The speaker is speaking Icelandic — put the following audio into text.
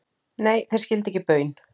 Nei, þeir skildu ekki baun.